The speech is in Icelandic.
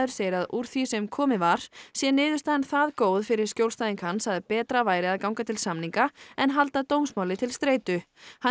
segir að úr því sem komið var sé niðurstaðan það góð fyrir skjólstæðing hans að betra væri að ganga til samninga en halda dómsmáli til streitu hann